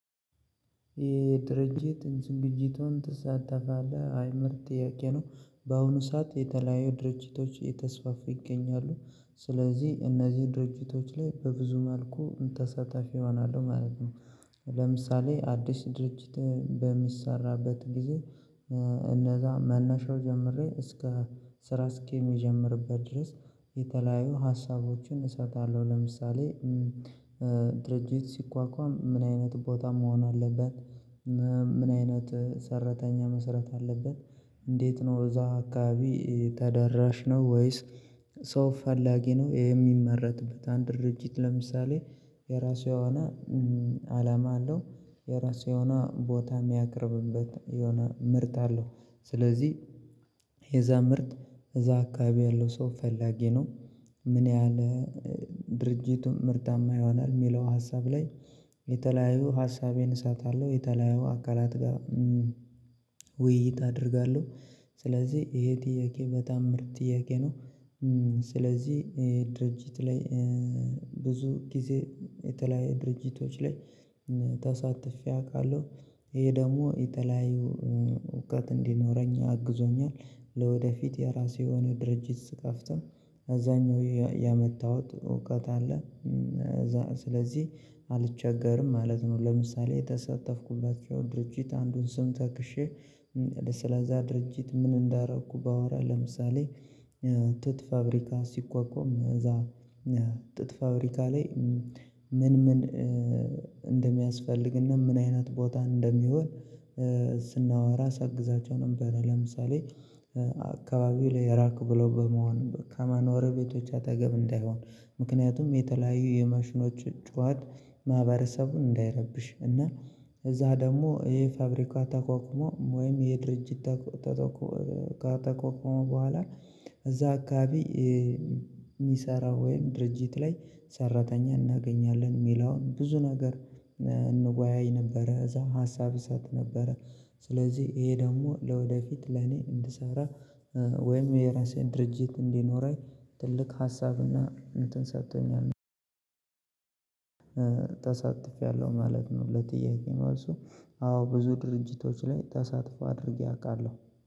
የድርጅት ዝግጅቱን ትሳተፋለህ አይነት ጥያቄ ነው። በአሁኑ ሰዓት የተለያዩ ድርጅቶች የተስፋፉ ይገኛሉ። ስለዚህ እነዚህ ድርጅቶች ላይ በብዙ መልኩ ተሳታፊ እሆናለሁ ማለት ነው። ለምሳሌ አዲስ ድርጅት በሚሰራበት ጊዜ እነዛ መነሻው ጀምሬ ስራ እስከሚጀምርበት ድረስ የተለያዩ ሀሳቦችን እሰጣለሁ። ለምሳሌ ድርጅት ሲቋቋም ምን አይነት ቦታ መሆን አለበት? ምን አይነት ሰራተኛ መሰረት አለበት? እንዴት ነው እዛ አካባቢ ተደራሽ ነው ወይስ ሰው ፈላጊ ነው? ይሄ የሚመረትበት አንድ ድርጅት ለምሳሌ የራሱ የሆነ አላማ አለው። የራሱ የሆነ ቦታ የሚያቅርብበት የሆነ ምርት አለው። ስለዚህ የዛ ምርት እዛ አካባቢ ያለው ሰው ፈላጊ ነው? ምን ያህል ድርጅቱን ምርታማ ይሆናል የሚለው ሀሳብ ላይ የተለያዩ ሀሳቤን እሰጣለሁ። የተለያዩ አካላት ጋር ውይይት አደርጋለሁ። ስለዚህ ይሄ ጥያቄ በጣም ምርጥ ጥያቄ ነው። ስለዚህ ብዙ ጊዜ የተለያየ ድርጅቶች ላይ ተሳትፌ አውቃለሁ። ይሄ ደግሞ የተለያዩ እውቀት እንዲኖረኝ አግዞኛል። ለወደፊት የራሴ የሆነ ድርጅት ስከፍት ከዛኛው ያመጣሁት እውቀት አለ። ስለዚህ አልቸገርም ማለት ነው። ለምሳሌ የተሰጠፍኩባቸው ድርጅት አንዱን ስም ጠክሼ ስለዛ ድርጅት ምን እንዳደረኩ ባወራ ለምሳሌ ጥጥ ፋብሪካ ሲቋቋም እዛ ጥጥ ፋብሪካ ላይ ምን ምን እንደሚያስፈልግና ምን አይነት ቦታ እንደሚሆን ስናወራ ሳግዛቸው ነበር። ለምሳሌ አካባቢው ላየ ራቀ ብሎ በመሆን ከማኖሪያ ቤቶች አጠገብ እንዳይሆን። ምክንያቱም የተለያዩ የማሽኖች ጩሄት ማህበረሰቡን እንዳይረብሽ እና እዛ ደግሞ ይሄ ፋብሪካ ተቋቁሞ ወይም ይሄ ድርጅት ከተቋቋመ በኋላ እዛ አካባቢ የሚሰራ ወይም ድርጅት ላይ ሰራተኛ እናገኛለን የሚለውን ብዙ ነገር እንወያይ ነበረ። እዛ ሀሳብ እሰጥ ነበረ። ስለዚህ ይሄ ደግሞ ለወደፊት ለኔ እንድሰራ ወይም የራሴን ድርጅት እንዲኖረኝ ትልቅ ሀሳብና እንትን ሰጥቶኛለ። አልነበረም ተሳትፌያለሁ ማለት ነው። ለጥያቄ ራሱ አዎ ብዙ ድርጅቶች ላይ ተሳትፎ አድርጌ አውቃለሁ።